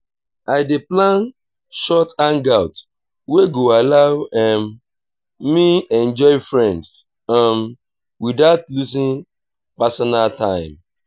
i dey plan short hangouts wey go allow um me enjoy friends um without losing personal time.